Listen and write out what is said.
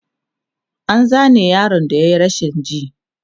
an Zane yaron da yayi rashin ji